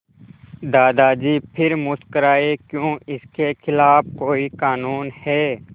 दादाजी फिर मुस्कराए क्यों इसके खिलाफ़ कोई कानून है